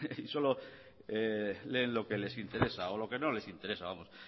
y solo leen lo que les interesa o lo que no les interesa vamos